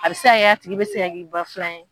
A bɛ se k'a kɛ a tigi bɛ se ka k'i ba filan ye.